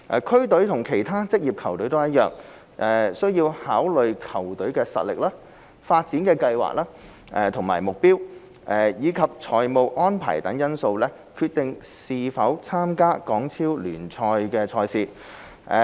區隊與其他職業球隊一樣，需考慮球隊實力、發展計劃和目標，以及財務安排等因素決定是否參加港超聯賽事。